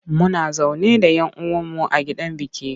Muna zaune da yan uwan mu a gidan biki.